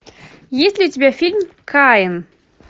есть ли у тебя фильм каин